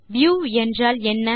view என்றால் என்ன